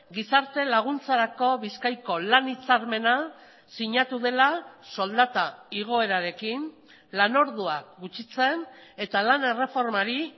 gizarte laguntzarako bizkaiko lan hitzarmena sinatu dela soldata igoerarekin lanorduak gutxitzen eta lan erreformari